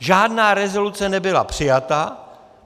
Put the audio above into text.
Žádná rezoluce nebyla přijata.